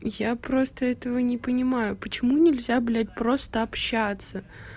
я просто этого не понимаю почему нельзя блять просто общаться